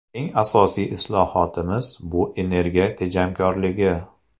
Eng asosiy islohotimiz bu energiya tejamkorligi.